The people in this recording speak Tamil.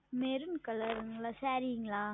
Maroon Color ங்களா Saree ங்களா